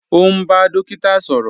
Ọ̀ n bá dòkíta sọrọ